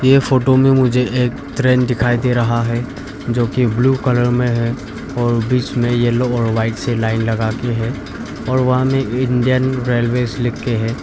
ये फोटो में मुझे एक ट्रेन दिखाई दे रहा है जो कि ब्ल्यू कलर में है और बीच में येलो और वाइट से लाइन लगा के है और वहां में इंडियन रेलवेज लिख के है।